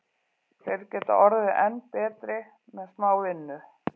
Þeir geta orðið enn betri með smá vinnu.